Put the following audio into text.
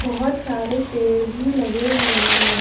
बहुत सारे पेड़ भी लगे हुए हैं।